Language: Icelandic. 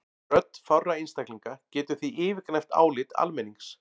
Rödd fárra einstaklinga getur því yfirgnæft álit almennings.